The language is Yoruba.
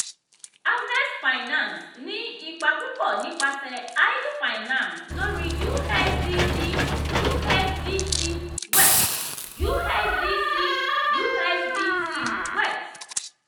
harvest finance ní ipa púpọ̀ nípasẹ̀ idle finance lórí usdc usdt weth usdc usdt weth.